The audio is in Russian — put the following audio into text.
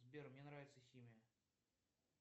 сбер мне нравится химия